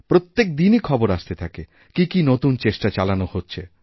প্রত্যেক দিনই খবর আসতে থাকে কি কি নতুন চেষ্টাচালানো হচ্ছে